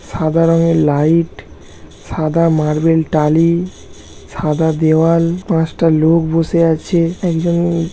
সাদা রঙের লাইইট সাদা মার্বেল টালি সাদা দেওওয়াল পাঁচটা লোক বসে আছে একজন--